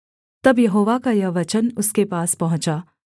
तब यहोवा का यह वचन उसके पास पहुँचा